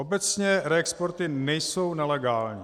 Obecně reexporty nejsou nelegální.